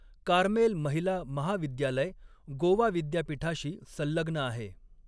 Carmel महिला महाविद्यालय गोवा विद्यापीठाशी संलग्न आहे.